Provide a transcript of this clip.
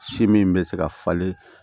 Si min bɛ se ka falen